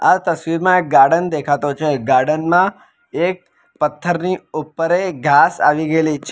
આ તસવીરમાં એક ગાર્ડન દેખાતો છે એક ગાર્ડનમાં એક પથ્થરની ઉપર એક ઘાસ આવી ગેલી છે.